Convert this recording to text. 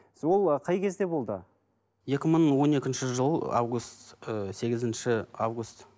ол ы қай кезде болды екі мың он екінші жылы август ыыы сегізінші август